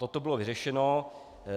Toto bylo vyřešeno.